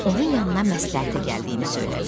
Onun yanına məsləhətə gəldiyini söylədi.